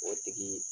O tigi